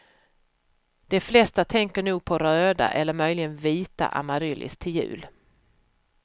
De flesta tänker nog på röda eller möjligen vita amaryllis till jul.